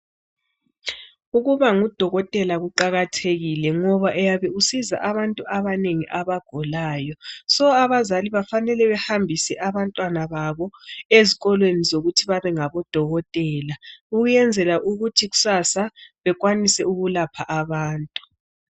Ukuba ngudokotela kuqakathekile ngoba uyabe usiza abantu abanengi abagulayo. Abazali kufanele behambise abantwana babo ezikolweni zokuthi babe ngabodokotela ukwenzela ukuthi kusasa bekwanise ukulapha abantu.